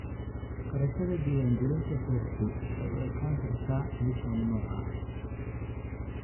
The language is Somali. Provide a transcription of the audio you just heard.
Kharashyada diiwaangelinta beertu waxay u ekaan kartaa mid mamnuuc ah.